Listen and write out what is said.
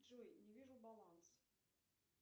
джой не вижу баланс